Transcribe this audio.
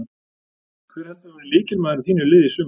Hver heldurðu að verði lykilmaður í þínu liði í sumar?